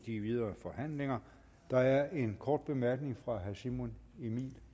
i de videre forhandlinger der er en kort bemærkning fra herre simon emil